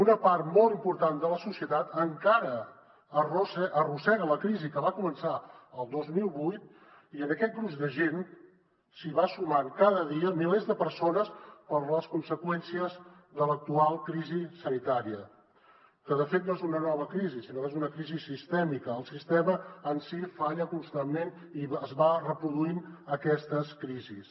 una part molt important de la societat encara arrossega la crisi que va començar el dos mil vuit i en aquest gruix de gent s’hi van sumant cada dia milers de persones per les conseqüències de l’actual crisi sanitària que de fet no és una nova crisi sinó que és una crisi sistèmica el sistema en si falla constantment i va reproduint aquestes crisis